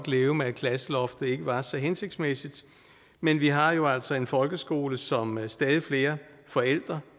leve med at klasseloftet ikke var så hensigtsmæssigt men vi har jo altså en folkeskole som stadig flere forældre